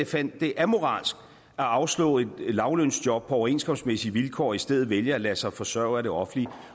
fandt det amoralsk at afslå et lavtlønsjob på overenskomstmæssige vilkår og i stedet vælge at lade sig forsørge af det offentlige